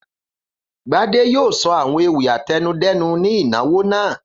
Gbadé yóò sọ àwọn ewì àtẹnudẹ́nu ní ìnáwó náà.